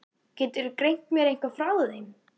Geturðu greint mér eitthvað frá þeim?